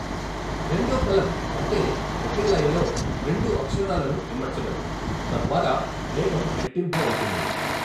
రెండో కలం అంటే ఒకే లయలో రెండు అక్షరాలను ఇమడ్చడం, తద్వారా వేగం రెట్టింపు అవుతుంది.